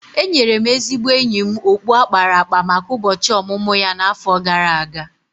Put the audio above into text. Enyere m ezigbo enyi m okpu a kpara akpa maka ụbọchị ọmụmụ ya n’afọ gara aga.